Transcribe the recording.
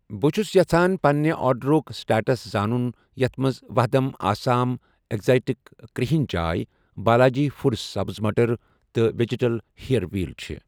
بہٕ چھس یژھان پننہِ آرڈرُک سٹیٹس زانُن یتھ مَنٛز وھدم آسام اٮ۪کزاٹِک کرٛہٕنۍ چاے بالاجی فوٗڈس سبٕز مٹر تہٕ وٮ۪جِٹل ہییر وٮ۪ل چھ ۔